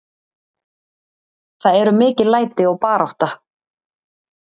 Það eru mikil læti og barátta.